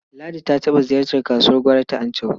Ladi ta taɓa ziyartar kasuwar gwari ta Anchau.